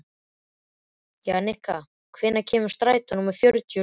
Jannika, hvenær kemur strætó númer fjörutíu og sjö?